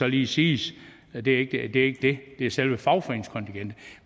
lige siges at det ikke er det det er selve fagforeningskontingentet